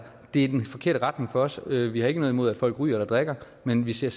i den forkerte retning for os vi vi har ikke noget imod at folk ryger eller drikker men vi ser